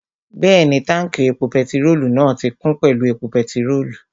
Bẹ́ẹ̀ni, táùnkì epo pẹtirólù náà ti kún pẹ̀lú epo pẹtirólù